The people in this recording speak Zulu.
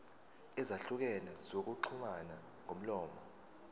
ezahlukene zokuxhumana ngomlomo